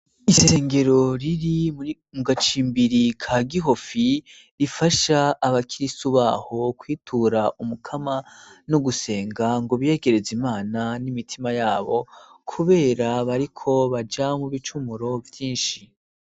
Isengero riri mu gacimbiri ka Gihofi rifasha abakirisu baho kwitura umukama no gusenga ngo biyegereze Imana n'imitima yabo kubera bariko baja mu bicumuro vyinshi.